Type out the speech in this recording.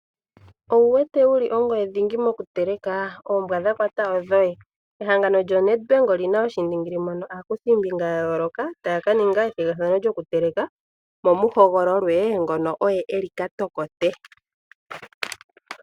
Owu wete wuli ongweye dhingi mokuteleka? Oombwa dha kwata odhoye! Ehangano lyo NedBank olina oshiindingili mono aakuthimbinga ya yooloka taya ka ninga ethigathano lyokuteleka mo mu hogololwe ngono oye eli katokote.